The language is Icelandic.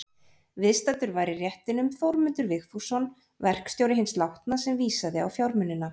Viðstaddur var í réttinum Þórmundur Vigfússon, verkstjóri hins látna, sem vísaði á fjármunina.